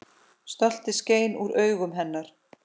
Stoltið skein úr augum hennar.